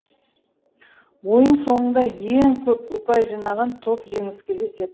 ойын соңында ең көп ұпай жинаған топ жеңіске жетеді